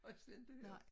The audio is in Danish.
Har jeg slet ikke hørt